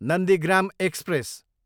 Nandigram express